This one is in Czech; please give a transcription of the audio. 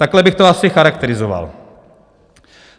Takhle bych to asi charakterizoval.